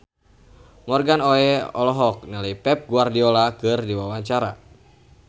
Morgan Oey olohok ningali Pep Guardiola keur diwawancara